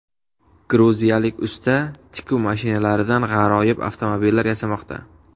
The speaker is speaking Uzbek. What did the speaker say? Gruziyalik usta tikuv mashinalaridan g‘aroyib avtomobillar yasamoqda .